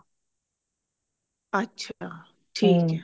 ਅੱਛਾ ਠੀਕ ਹੈ